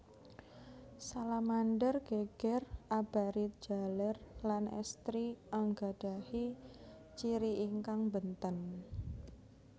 Salamander geger abarit jaler lan èstri anggadhahi ciri ingkang bènten